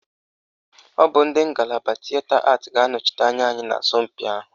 Ọ bụ ndị ngalaba Tịeta Atị ga-anọchite anya anyị n'asọmpị ahụ